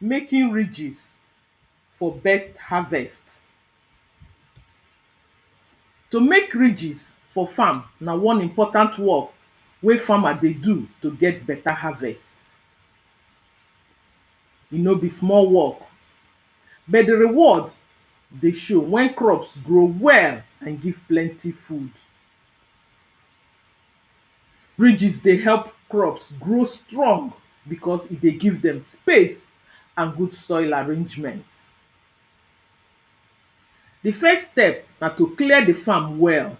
making ridges for best harvest. to make ridges for farm, na one important work wey farmer der do to ger beta harvest. e no be small work bet the reward dey show when crop grow well and give plenty food. ridges dey help crops grow strong because e dey give dem space and good soil arrangement. the first step, na to clear the farm well.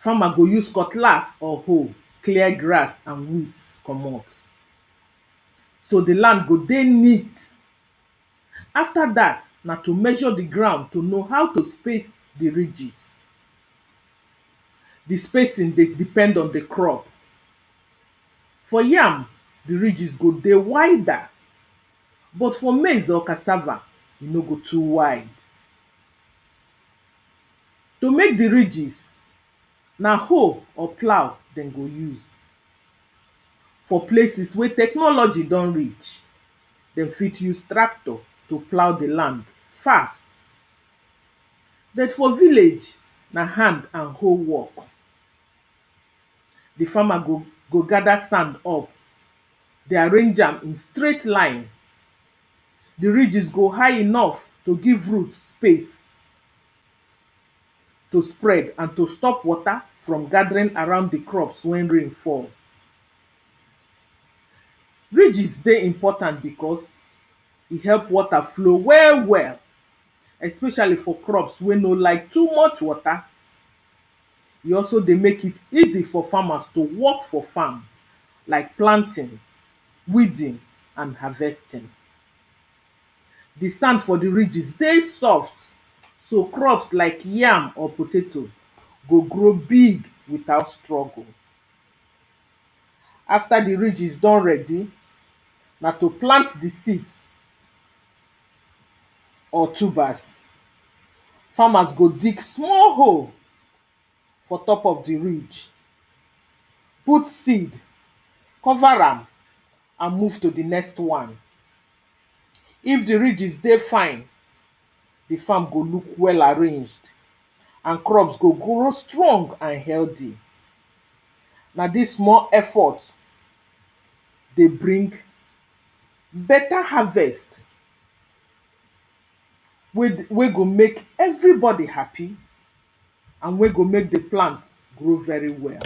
farmer go use cutlass or hoe clear grass and weeds comot. so the land go dey neat. after that, na to measure the ground to know how to space the ridges. the spacing dey depend on the crop. for yam, the ridges go dey wider, but for maize or cassava, e no go too wide. to make the ridges, na hoe or plough den go use. for places wey technology don reach, dem fit use tractor to plough the land, fast. bet for villadge, na hand and hoe work. the farmer go go gather sand up, dey arrange am in straight line. the ridges go high enough to give root space to spread and to stop water from gathering around the crops when rain fall. ridges dey important because e help water flow well well especially for crops wey no like too much water. e also dey make it easy for farmers to work for farm like planting, weeding and harvesting. the sand for the ridges dey soft so crops like yam or potato go grow big without struggle. after the ridges don ready, na to plant the seeds or tubers. farmers go dig small hole for top of the ridge, put seed cover am and move to the next one. if the ridges dey fine, the farm go look well arranged and crops go grow strong and healthy na this small effort dey bring beta harvest wey the wey go make everybody happy and wey go make the plant grow very well.